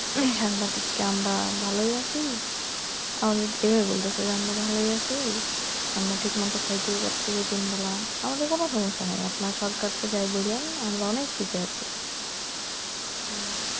সাংবাদিককে আমরা ভালোই আছি আমাদের এভাবে বলতেছে যে আমরা ভালোই আছি আমরা ঠিকমতো খাইতেও পারতেছি তিন বেলা আমাদের কোনো সমস্যা নাই আপনার সরকারকে যাই বলেন আমরা অনেক সুখে আছি